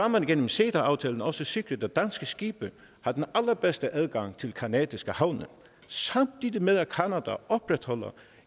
man gennem ceta aftalen også sikret at danske skibe har den allerbedste adgang til canadiske havne samtidig med at canada opretholder